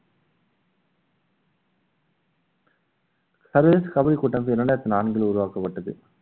சர்வதேச கபடி கூட்டம் இரண்டாயிரத்தி நான்கில் உருவாக்கப்பட்டது